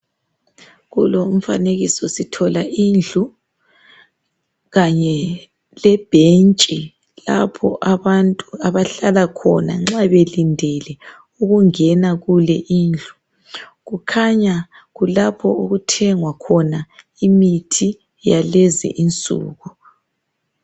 Kulowo mfanekiso sithola indlu kanye lebhentshi lapho abantu abahlala khona nxa belindele ukungena kule indlu. Kukhanya kulapho okuthengwa khona imithi yakulezi insuku.